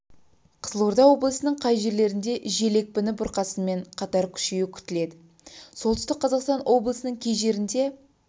қызылорда облыстарының кей жерлерінде жел екпіні бұрқасынмен қатар күшеюі күтіледі солтүстік қазақстан облысының кей жерінде